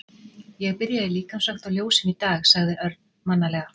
Ég byrja í líkamsrækt og ljósum í dag sagði Örn mannalega.